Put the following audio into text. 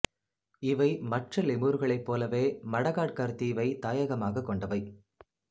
இவை மற்ற லெமூர்களைப் போலவே மடகாட்கர் தீவை தாயகமாகக் கொண்டவை